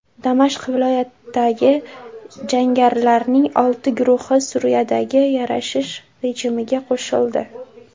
Damashq viloyatidagi jangarilarning olti guruhi Suriyadagi yarashish rejimiga qo‘shildi.